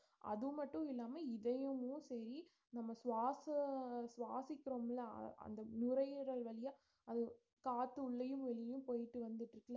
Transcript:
அது மட்டும் இல்லாம இதயமும் சரி நம்ம சுவாச~ சுவாசிக்கிறோம்ல அ~ அந்த நுரையீரல் வழியா அது காத்து உள்ளயும் வெளியயும் போயிட்டு வந்துட்டிருக்குல